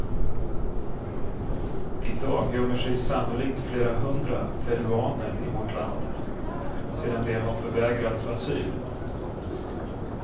I dag gömmer sig sannolikt flera hundra peruaner i vårt land, sedan de har förvägrats asyl.